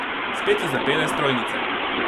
Spet so zapele strojnice.